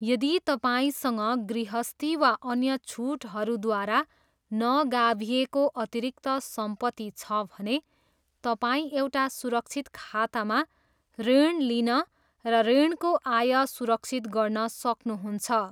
यदि तपाईँसँग गृहस्थी वा अन्य छुटहरूद्वारा नगाभिएको अतिरिक्त सम्पत्ति छ भने, तपाईँ एउटा सुरक्षित खातामा ऋण लिन र ऋणको आय सुरक्षित गर्न सक्नुहुन्छ।